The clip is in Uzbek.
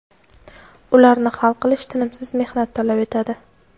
Ularni hal qilish tinimsiz mehnat talab etadi.